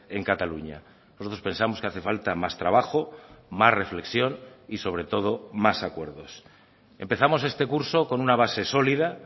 en cataluña nosotros pensamos que hace falta más trabajo más reflexión y sobre todo más acuerdos empezamos este curso con una base sólida